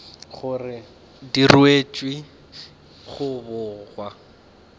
gore di ruetšwe go bogwa